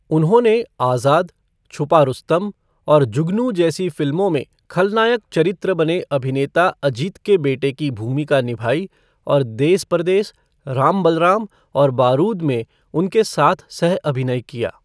उन्होंने 'आज़ाद', 'छुपा रुस्तम' और 'जुगनू' जैसी फिल्मों में खलनायक चरित्र बने अभिनेता अजीत के बेटे की भूमिका निभाई और 'देस परदेस', 'राम बलराम' और 'बारूद' में उनके साथ सह अभिनय किया।